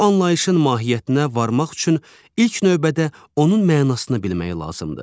Bu anlayışın mahiyyətinə varmaq üçün ilk növbədə onun mənasını bilmək lazımdır.